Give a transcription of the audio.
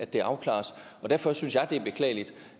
det afklares derfor synes jeg det er beklageligt